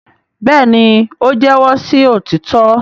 béèni o jẹwọ sí òtítọ.